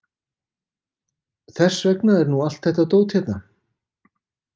Þess vegna er nú allt þetta dót hérna.